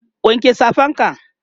wanke Safan ka!